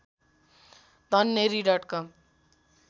तन्नेरी dot कम